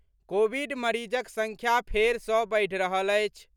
Covid मरीजक संख्या फेर सँ बढि रहल अछि।